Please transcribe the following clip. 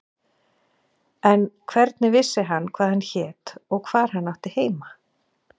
En hvernig vissi hann hvað hann hét og hvar hann átti heima?